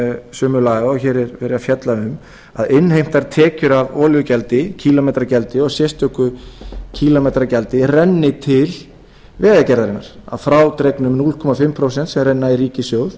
sömu laga og hér er verið að fjalla um að innheimtar tekjur af olíugjaldi sérstöku kílómetragjaldi og sérstöku kílómetragjaldi renni til vegagerðarinnar að frádregnum hálft prósent sem renna í ríkissjóð